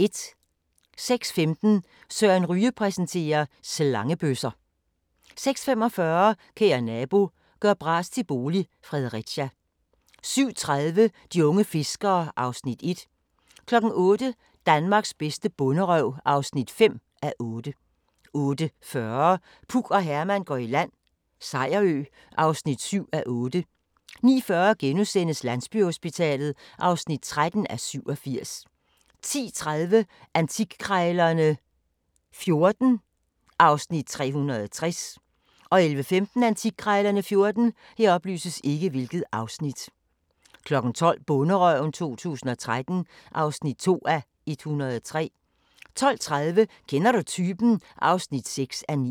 06:15: Søren Ryge præsenterer: Slangebøsser 06:45: Kære nabo – gør bras til bolig – Fredericia 07:30: De unge fiskere (Afs. 1) 08:00: Danmarks bedste bonderøv (5:8) 08:40: Puk og Herman går i land - Sejerø (7:8) 09:40: Landsbyhospitalet (13:87)* 10:30: Antikkrejlerne XIV (Afs. 360) 11:15: Antikkrejlerne XIV 12:00: Bonderøven 2013 (2:103) 12:30: Kender du typen? (6:9)